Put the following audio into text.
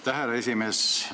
Aitäh, härra esimees!